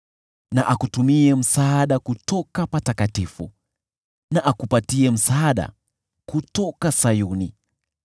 Na akutumie msaada kutoka patakatifu na akupatie msaada kutoka Sayuni.